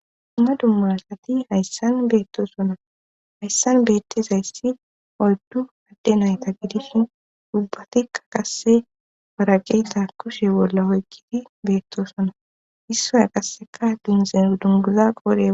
Dumma dummasati hayssan beettosona hayssan beettezayssi oldu adde nayta gidishin ubbatikka qasse waraqeyta kushe bolla oykgidi beetto sona issoy qasseka binzen dunguza qoree.